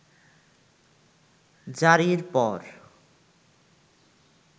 জারির পর